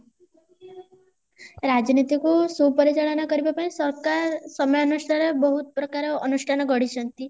ରାଜନୀତିକୁ ସୁପରିଚାଳନା କରିବା ପାଇଁ ସରକାର ସମୟାନୁଷ୍ଠାରେ ବହୁତ ପ୍ରକାର ଅନୁଷ୍ଠାନ ଗଢିଛନ୍ତି